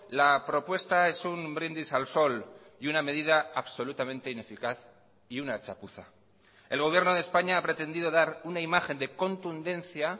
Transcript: la propuesta es un brindis al sol y una medida absolutamente ineficaz y una chapuza el gobierno de españa ha pretendido dar una imagen de contundencia